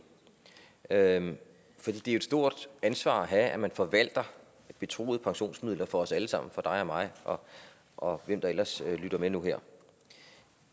er jo et stort ansvar at have at man forvalter betroede pensionsmidler for os alle sammen for dig og mig og hvem der ellers lytter med nu her